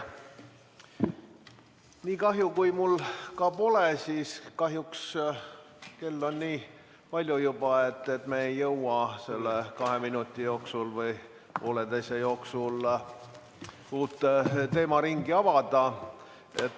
Nii kahju kui mul ka pole, kell on juba nii palju, et me ei jõua selle kahe või pooleteise minuti jooksul uut teemaringi avada.